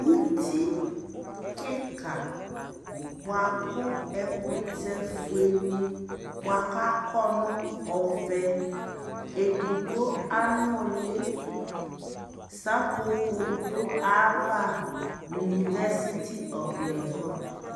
ʋti kikaa bʋakʋ ɛkʋtɛ kʋ ɛƒʋɛ ni bʋakʋ akɔ nʋ ɔvɛ ɛdigbɔ anʋli sapɔpɔ dʋ aɣa, university of legon